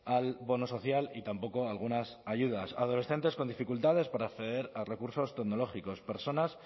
al bono social y tampoco a algunas ayudas adolescentes con dificultades para acceder a recursos tecnológicos personas